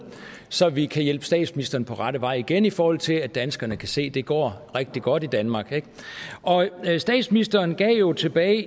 så vi kan hjælpe statsministeren på rette vej igen i forhold til at danskerne kan se at det går rigtig godt i danmark statsministeren gav jo tilbage